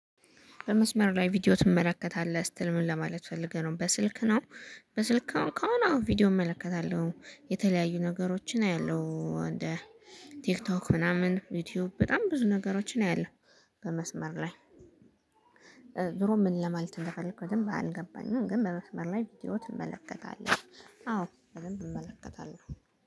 በመስመር ላይ ቪዲዮ ትመለከታለህ ስትል ምን ለማለት ፈልገህ ነው? በስልክ ነው። በስልክ አሁን ከሆነ ቪዲዮ እመለከታለሁ የተለያዩ ነገሮችን አያለሁ። እንደ ቲክቶክ ምናምን ዩቲዩብ በጣም ብዙ ነገሮችን አያለሁ። በመስመር ላይ። ዙሮ ምን ለማለት እንደፈለኩኝ ደንብ አልገባኝም። ግን በመስመር ላይ ቪድዮ ትመለከታለህ? አዎ በደንብ እመለከታለሁ